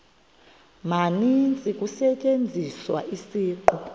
maninzi kusetyenziswa isiqu